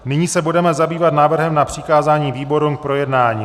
Nyní se budeme zabývat návrhem na přikázání výborům k projednání.